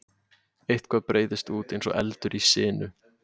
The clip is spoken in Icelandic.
Eitthvað breiðist út eins og eldur í sinu